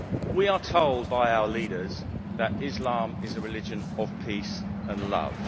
We are told by our leaders that Islam is a religion of peace and love.